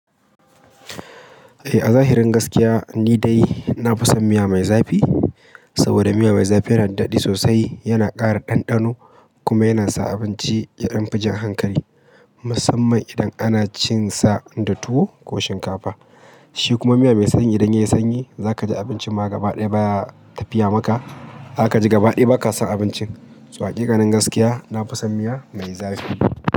Eh, a zahirin gaskiya ni dai na fi son miya mai zafi. Saboda miya mai zafi yana daɗi sosai, yana ƙara ɗanɗano kuma yana sa abinci ya ɗan fi jan hankali musamman idan ana cin sa da tuwo ko shinkafa. Shi kuma miya mai sanyi idan yayi sanyi zaka ji abincin ma gaba ɗaya baya tafiya maka. Shi kuma miya mai sanyi idan yayi sanyi zaka ji abincin ma gaba ɗaya baya tafiya maka. So hakiƙanin gaskiya na fi son miya mai zafi.